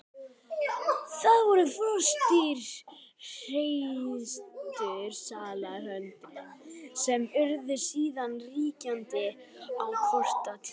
Það voru froskdýr, hreistursalamöndrur, sem urðu síðan ríkjandi á kolatímabilinu.